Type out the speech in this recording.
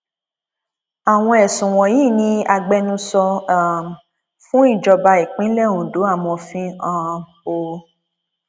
àwọn ẹsùn wọnyí ni agbẹnusọ um fún ìjọba ìpínlẹ ondo amọfin um o